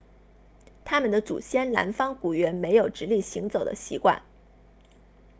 他们的祖先南方古猿没有直立行走的习惯